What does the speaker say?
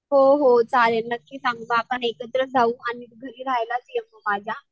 हो हो चालेल नक्की सांग मग आपण एकत्र जाऊ आणि घरी राहायलाच ये तू माझ्या.